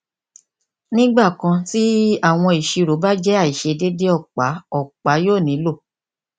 nigbakan ti awọn iṣiro ba jẹ aiṣedede ọpa ọpa yoo nilo